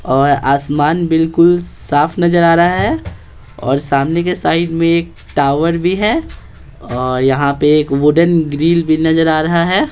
और आसमान बिलकुल साफ़ नज़र आ रहा है और सामने के साइड में एक टॉवर भी है और यहाँ पे एक वुडन ग्रिल भी नज़र आ रहा है।